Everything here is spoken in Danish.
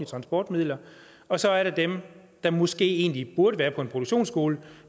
transportmidler og så er der dem der måske egentlig burde være på en produktionsskole